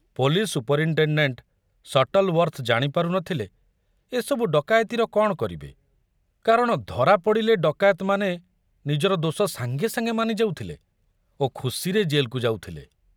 Police superintendent Shuttleworth ଜାଣିପାରୁ ନଥିଲେ ଏସବୁ ଡକାୟତିର କଣ କରିବେ, କାରଣ ଧରାପଡ଼ିଲେ ଡକାୟତମାନେ ନିଜର ଦୋଷ ସାଙ୍ଗେ ସାଙ୍ଗେ ମାନି ଯାଉଥିଲେ ଓ ଖୁସିରେ ଜେଲକୁ ଯାଉଥିଲେ।